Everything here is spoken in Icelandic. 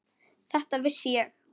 Þetta vissi ég.